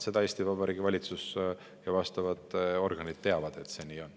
Eesti Vabariigi valitsus ja vastavad organid teavad, et see nii on.